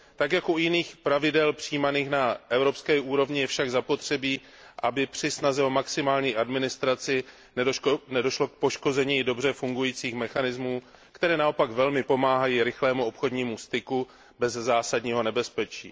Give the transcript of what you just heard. Tak jako u jiných pravidel přijímaných na evropské úrovni je však zapotřebí, aby při snaze o maximální administraci nedošlo k poškození dobře fungujících mechanismů, které naopak velmi pomáhají rychlému obchodnímu styku bez zásadního nebezpečí.